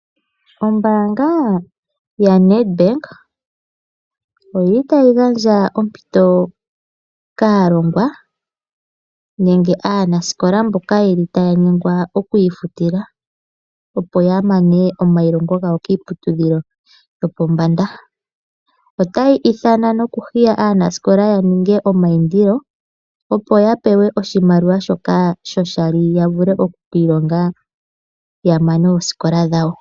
Ombaanga yaNedbank oyili tayi gandja ompito kaalongwa nenge aanasikola mboka yeli taya nyengwa okwiifutila opo ya mane omayilongo gawo kiiputudhilo yopombanda. Otayi ithana nokuhiya aanasikola yaninge omayindilo opo yapewe oshimaliwa shoka sho shali yavule oku kiilonga yamane oosikola dhawo.